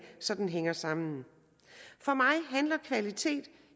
så den hænger sammen for mig handler kvalitet